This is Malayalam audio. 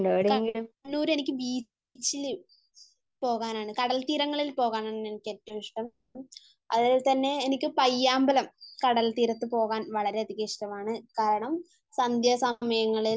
കണ്ണൂർ എനിക്ക് ബീച്ചില് പോകാനാണ്, കടൽ തീരങ്ങളിൽ പോകാനാണ് എനിക്ക് ഏറ്റവും ഇഷ്ടം അതുപോലെ എനിക്ക് പയ്യാമ്പലം കടൽ തീരത്ത് പോവാൻ വളരെയധികം ഇഷ്ടമാണ്. കാരണം, സന്ധ്യാസമയങ്ങളിൽ